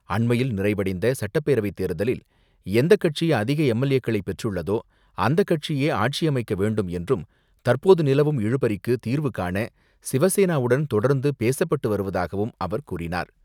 அண்மையில் நிறைவடைந்த சட்டப்பேரவை தேர்தலில் எந்தக் கட்சி அதிக எம்.எல்.ஏக்களை பெற்றுள்ளதோ அந்த கட்சியே ஆட்சியமைக்க வேண்டும் என்றும், தற்போது நிலவும் இழுபறிக்கு தீர்வுகாண சிவசேனாவுடன் தொடர்ந்து பேசப்பட்டு வருவதாகவும் அவர் கூறினார்.